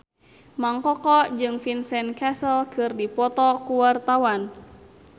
Mang Koko jeung Vincent Cassel keur dipoto ku wartawan